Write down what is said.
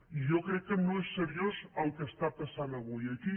i jo crec que no és seriós el que està passant avui aquí